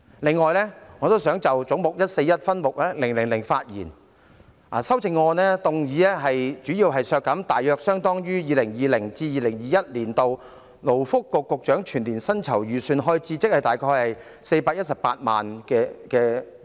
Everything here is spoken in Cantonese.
另外，我想就總目 141， 分目000發言，有關修正案提出削減大約相當於 2020-2021 年度勞工及福利局局長全年薪酬預算開支，即418萬元。